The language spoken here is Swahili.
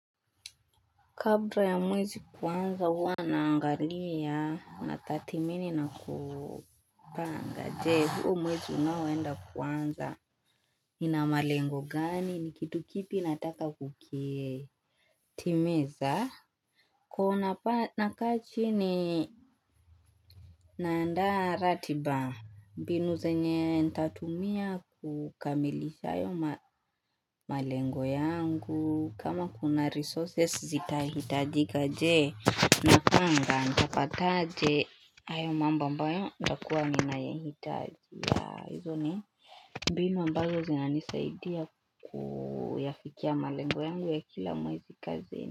Kabla ya mwezi kuanza huwa naangalia na tathimini na kupanga je huu mwezi unoenda kuanza Ninamalengo gani ni kitu kipi nataka kukitimiza Kuna pa nakaa chini Naandaa ratiba Binu zenye nitatumia kukamilisha hayo malengo yangu kama kuna resources zitahitajika je Napanga nitapataaje hayo mambo ambayo nitakua ninayahitaji ya izo ni Binu ambazo znanisaidia kuyafikia malengo yangu ya kila mwezi kazini.